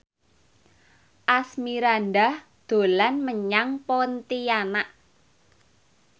Asmirandah dolan menyang Pontianak